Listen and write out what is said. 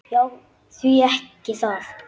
Já, því ekki það.